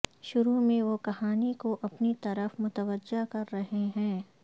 شروع میں وہ کہانی کو اپنی طرف متوجہ کر رہے ہیں